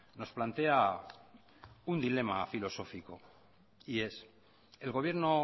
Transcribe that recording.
nos plantea un dilema filosófico y es el gobierno